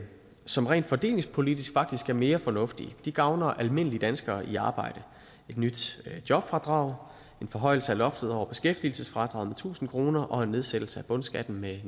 som rent fordelingspolitisk faktisk er mere fornuftige de gavner almindelige danskere i arbejde et nyt jobfradrag en forhøjelse af loftet over beskæftigelsesfradraget med tusind kroner og en nedsættelse af bundskatten med